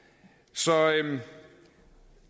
så